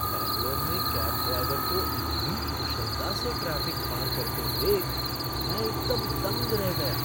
बैंगलोर में cab driver को इतनी कुशलता से ट्रैफ़िक पार करते देख मैं एकदम दंग रह गया।